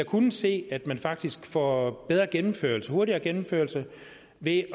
kunnet se at man faktisk får bedre gennemførelse hurtigere gennemførelse ved